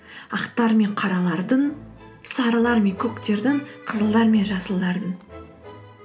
ақтар мен қаралардың сарылар мен көктердің қызылдар мен жасылдардың